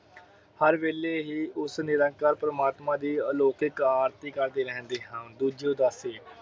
ਹਰ ਵੇਲੇ ਹੀ ਉਸ ਨਿਰੰਕਾਰ ਪ੍ਰਮਾਤਮਾ ਦੀ ਅਲੋਕਹਿਤ ਆਰਤੀ ਕਰਦੇ ਰਹਿੰਦੇ ਹਨ। ਦੂਜੀ ਉਦਾਸੀ